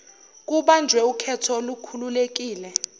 kubanjwe ukhetho olukhululekile